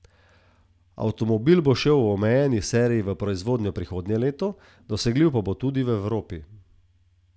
Avtomobil bo šel v omejeni seriji v proizvodnjo prihodnje leto, dosegljiv pa bo tudi v Evropi.